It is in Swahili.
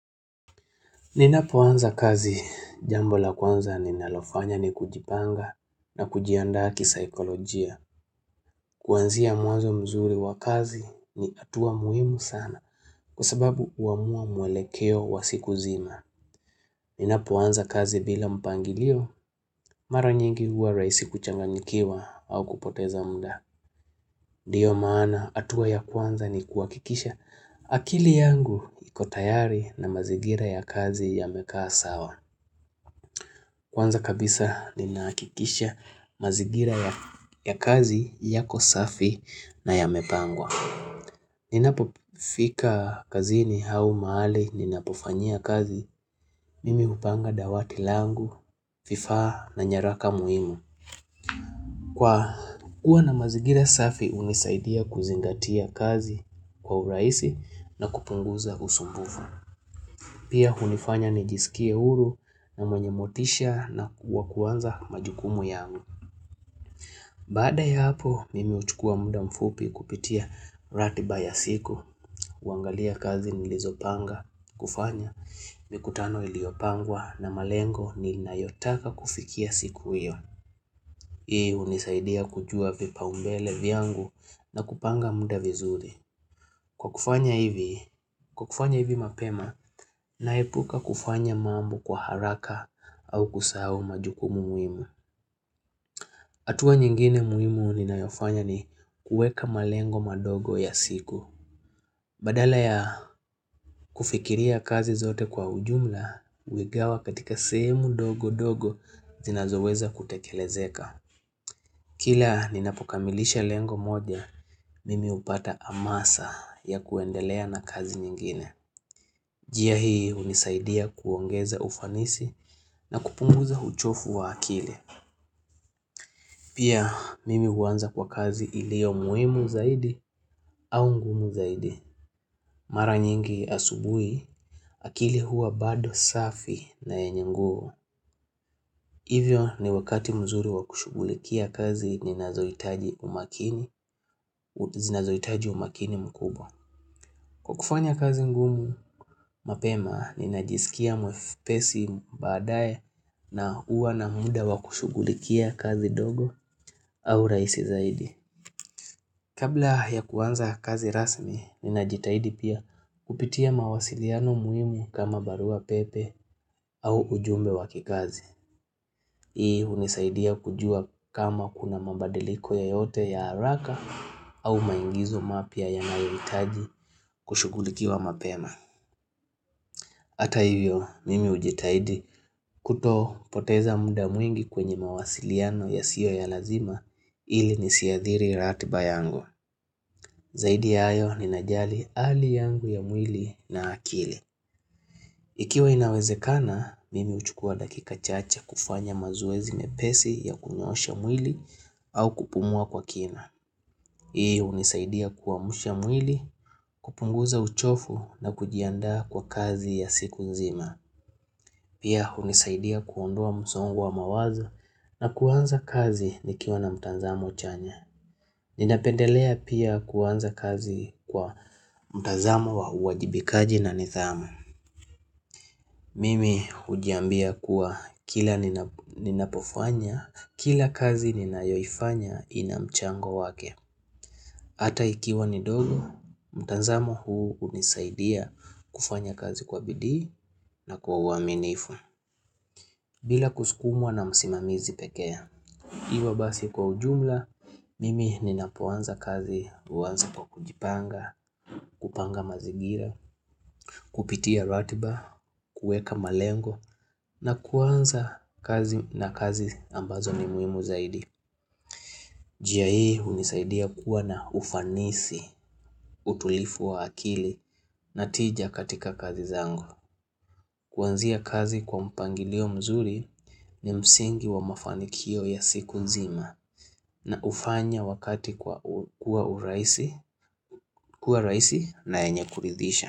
Ninapoanza kazi jambo la kwanza ninalofanya ni kujipanga na kujiandaa kisaikolojia. Kwanzia mwazo mzuri wa kazi ni hatua muhimu sana kwa sababu huamua mwelekeo wa siku nzima. Ninapoanza kazi bila mpangilio mara nyingi huwa rahisi kuchanganyikiwa au kupoteza muda. Ndiyo maana hatua ya kwanza ni kuhakikisha akili yangu ikotayari na mazigira ya kazi ya mekaa sawa. Kwanza kabisa ninahakikisha mazingira ya kazi yako safi na yamepangwa Ninapofika kazini au mahali ninapofanyia kazi mimi hupanga dawati langu, vifaa na nyaraka muhimu Kwa kuwa na mazigira safi hunisaidia kuzingatia kazi kwa urahisi na kupunguza usumbufu Pia hunifanya nijisikie huru na mwenye motisha na wa kuanza majukumu yangu. Baada ya hapo, mimi huchukua muda mfupi kupitia ratiba ya siku, huangalia kazi nilizopanga, kufanya, mikutano iliopangwa na malengo ninayotaka kufikia siku iyo. Hii hunisaidia kujua vipaumbele vyangu na kupanga muda vizuri. Kwa kufanya hivi, kwa kufanya hivi mapema, naepuka kufanya mambu kwa haraka au kusahau majukumu muhimu. Hatua nyingine muhimu ninayofanya ni kuweka malengo madogo ya siku. Badala ya kufikiria kazi zote kwa ujumla, huigawa katika semu dogo dogo zinazoweza kutekelezeka. Kila ninapokamilisha lengo moja, mimi hupata amasa ya kuendelea na kazi nyingine. NJia hii hunisaidia kuongeza ufanisi na kupunguza uchofu wa akili. Pia mimi huanza kwa kazi ilio muhimu zaidi au ngumu zaidi. Mara nyingi asubuhi, akili huwa bado safi na yenye nguvu. Hivyo ni wakati mzuri wa kushughulikia kazi ni nazohitaji umakini mkubwa. Kwa kufanya kazi ngumu mapema, ninajisikia mwepesi baadae na huwa na muda wa kushughulikia kazi dogo au rahisi zaidi. Kabla ya kuanza kazi rasmi, ninajitahidi pia kupitia mawasiliano muhimu kama barua pepe au ujumbe wa kikazi. Hii hunisaidia kujua kama kuna mabadiliko yoyote ya haraka au maigizo mapya yanayohitaji kushughulikiwa mapema. Hata hivyo, mimi hujitaidi kutopoteza muda mwingi kwenye mawasiliano yasiyo ya lazima ili nisiadhiri ratiba yangu. Zaidi ya hayo ninajali hali yangu ya mwili na akili. Ikiwa inawezekana, mimi huchukua dakika chache kufanya mazoezi nyepesi ya kunyoosha mwili au kupumua kwa kina. Hii hunisaidia kuamsha mwili, kupunguza uchofu na kujiandaa kwa kazi ya siku nzima. Pia hunisaidia kuondoa msongo wa mawazo na kuanza kazi nikiwa na mtazamo chanya Ninapendelea pia kuanza kazi kwa mtazamo wa uajibikaji na nidhamu Mimi hujiambia kuwa kila ninapofanya, kila kazi ninayoifanya inamchango wake Hata ikiwa nidogo, mtazamo huu hunisaidia kufanya kazi kwa bidii na kwa uaminifu bila kusukumwa na msimamizi pekee. Hivyo basi kwa ujumla, mimi ninapoanza kazi huanza kwa kujipanga, kupanga mazingira, kupitia ratiba, kuweka malengo na kuanza kazi na kazi ambazo ni muhimu zaidi. Njia hii hunisaidia kuwa na ufanisi, utulivu wa akili na tija katika kazi zangu. Kwanzia kazi kwa mpangilio mzuri ni msingi wa mafanikio ya siku nzima na hufanya wakati kuwa rahisi na yenye kuridisha.